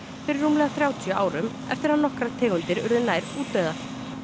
fyrir rúmlega þrjátíu árum eftir að nokkrar tegundir urðu nær útdauðar